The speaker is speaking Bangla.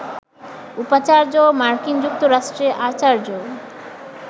উপাচার্য, মার্কিন যুক্তরাষ্ট্রে আচার্য